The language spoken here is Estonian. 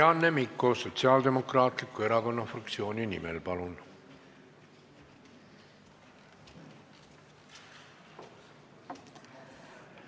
Marianne Mikko Sotsiaaldemokraatliku Erakonna fraktsiooni nimel, palun!